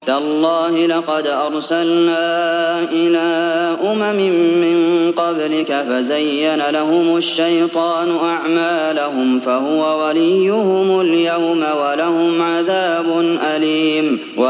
تَاللَّهِ لَقَدْ أَرْسَلْنَا إِلَىٰ أُمَمٍ مِّن قَبْلِكَ فَزَيَّنَ لَهُمُ الشَّيْطَانُ أَعْمَالَهُمْ فَهُوَ وَلِيُّهُمُ الْيَوْمَ وَلَهُمْ عَذَابٌ أَلِيمٌ